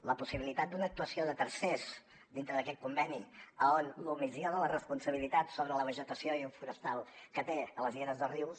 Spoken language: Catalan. la possibilitat d’una actuació de tercers dintre d’aquest conveni on l’omissió de la responsabilitat sobre la vegetació forestal que té a les lleres dels rius